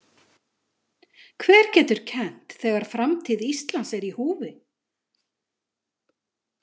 Hver getur kennt þegar framtíð Íslands er í húfi?